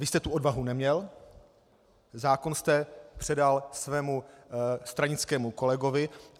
Vy jste tu odvahu neměl, zákon jste předal svému stranickému kolegovi.